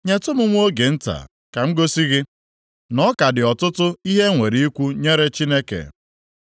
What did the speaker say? “Nyetụ m nwa oge nta, ka m gosi gị na ọ ka dị ọtụtụ ihe e nwere ikwu nyere Chineke.